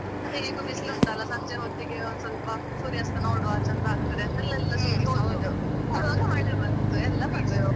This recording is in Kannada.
ಅದೇ ಹೇಗೋ ಬಿಸ್ಲು ಉಂಟಲ್ಲ ಸಂಜೆ ಹೊತ್ತಿಗೆ ಒಂದು ಸ್ವಲ್ಪ ಸೂರ್ಯಾಸ್ತ ನೋಡುವ ಚಂದ ಆಗ್ತದೆ ಅಂತ ಎಲ್ಲ. ಸೇರಿ ಹೊದ್ದು ಆವಾಗ್ಲೇ ಮಳೆ ಬಂತು ಎಲ್ಲ ಬಂದ್ವಿ ವಾಪಸ್.